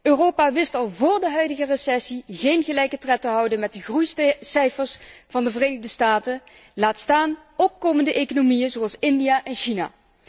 Europa wist al vóór de huidige recessie geen gelijke tred te houden met de groeicijfers van de Verenigde Staten, laat staan van opkomende economieën zoals India en China.